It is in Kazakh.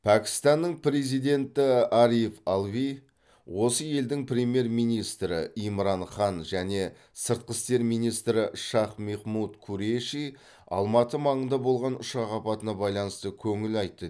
пәкістанның президенті ариф алви осы елдің премьер министрі имран хан және сыртқы істер министрі шах мехмуд куреши алматы маңында болған ұшақ апатына байланысты көңіл айтты